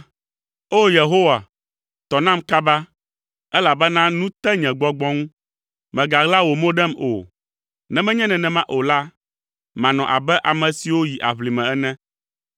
O! Yehowa, tɔ nam kaba, elabena nu te nye gbɔgbɔ ŋu. Mègaɣla wò mo ɖem o, ne menye nenema o la, manɔ abe ame siwo yi aʋlime ene.